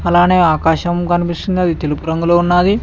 అలానే ఆకాశం కనిపిస్తుంది అది తెలుపు రంగులో ఉన్నది.